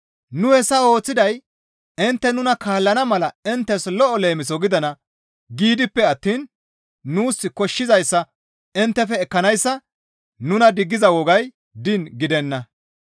Nu hessa ooththiday intte nuna kaallana mala inttes lo7o leemiso gidana giidippe attiin nuus koshshizayssa inttefe ekkanayssa nuna diggiza wogay diin gidenna.